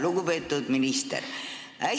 Lugupeetud minister!